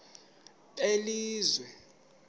belizwe